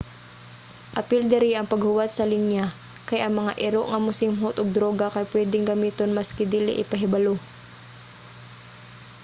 apil diri ang paghuwat sa linya kay ang mga iro nga mosimhot og druga kay pwedeng gamiton maski dili ipahibalo